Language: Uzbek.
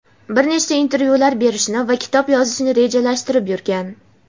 bir nechta intervyular berishni va kitob yozishni rejalashtirib yurgan.